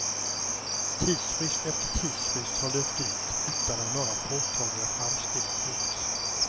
Tidsfrist efter tidsfrist har löpt ut utan att några påtagliga framsteg gjorts.